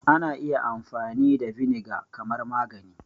Ana iya amfani da vinegar kamar magani